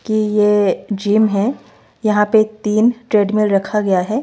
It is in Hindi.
कि ये जिम है यहां पे तीन ट्रेडमील रखा गया है।